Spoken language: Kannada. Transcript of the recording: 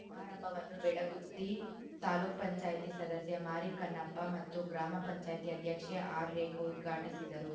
ಸಮಾರಂಭವನ್ನು ಬೆಳಗುತ್ತಿ ತಾಪಂ ಸದಸ್ಯ ಮಾರಿಕನ್ನಪ್ಪ ಮತ್ತು ಗ್ರಾಮ ಪಂಚಾಯ್ತಿ ಅಧ್ಯಕ್ಷೆ ಆರ್‌ರೇಖಾ ಉದ್ಘಾಟಿಸಿದರು